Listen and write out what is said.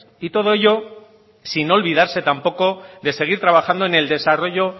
y todo ello sin olvidarse tampoco de seguir trabajando en el desarrollo